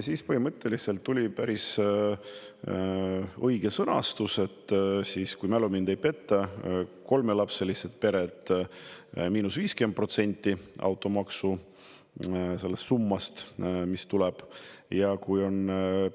Sõnastus tuli siis, kui mälu mind ei peta, et kolmelapselised pered –50% automaksu summast ja kui